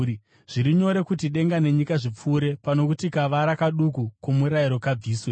Zviri nyore kuti denga nenyika zvipfuure pano kuti kavara kaduku koMurayiro kabviswe.